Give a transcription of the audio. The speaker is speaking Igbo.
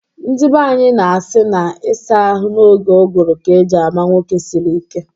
Ndi banyị na-asị na ịsa ahụ n'oge ụgụrụ ka eji ama nwoke siri ike